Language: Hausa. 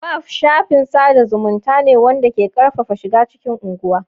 Velp shafin sada zumunta ne wanda ke karfafa shiga cikin unguwa.